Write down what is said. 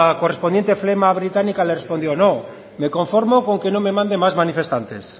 correspondiente flema británica le respondió no me conformo con que no me mande más manifestantes